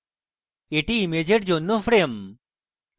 এটি ইমেজের জন্য frame